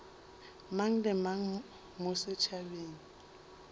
mang le mang mo setšhabeng